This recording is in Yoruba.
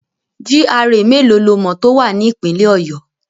GRA mélòó lo mọ̀ tó wà ní Ìpínlẹ̀ Ọ̀yọ́?